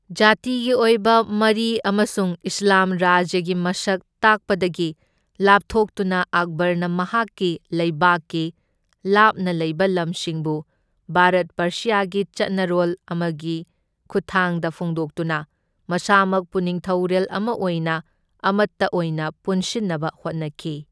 ꯖꯥꯇꯤꯒꯤ ꯑꯣꯢꯕ ꯃꯔꯤ ꯑꯃꯁꯨꯡ ꯏꯁ꯭ꯂꯥꯝ ꯔꯥꯖ꯭ꯌꯒꯤ ꯃꯁꯛ ꯇꯥꯛꯄꯗꯒꯤ ꯂꯥꯞꯊꯣꯛꯇꯨꯅ ꯑꯛꯕꯔꯅ ꯃꯍꯥꯛꯀꯤ ꯂꯩꯕꯥꯛꯀꯤ ꯂꯥꯞꯅ ꯂꯩꯕ ꯂꯝꯁꯤꯡꯕꯨ ꯚꯥꯔꯠ ꯄꯔꯁ꯭ꯌꯥꯒꯤ ꯆꯠꯅꯔꯣꯜ ꯑꯃꯒꯤ ꯈꯨꯠꯊꯥꯡꯗ ꯐꯣꯡꯗꯣꯛꯇꯨꯅ ꯃꯁꯥꯃꯛꯄꯨ ꯅꯤꯡꯊꯧꯔꯦꯜ ꯑꯃ ꯑꯣꯏꯅ ꯑꯃꯠꯇ ꯑꯣꯏꯅ ꯄꯨꯟꯁꯤꯟꯅꯕ ꯍꯣꯠꯅꯈꯤ꯫